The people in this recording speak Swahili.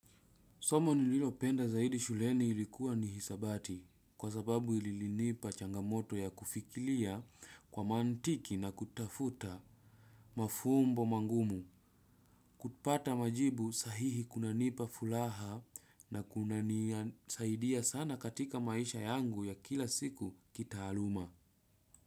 Soma nililopenda zaidi shuleni ilikuwa ni hisabati, kwa sababu ililinipa changamoto ya kufikilia kwa mantiki na kutafuta mafumbo mangumu. Kupata majibu sahihi kunanipa fulaha na kunanisaidia sana katika maisha yangu ya kila siku kitaaluma.